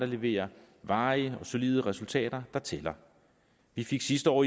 leverer varige og solide resultater der tæller vi fik sidste år